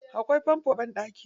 Akwai fanfo a banɗaki.